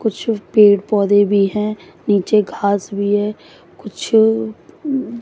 कुछ पेड़ पौधे भी हैं नीचे घास भी है कुछ--